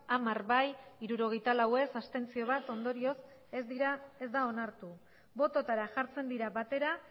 hamar bai hirurogeita lau ez bat abstentzio ondorioz ez da onartu bototara jartzen dira batera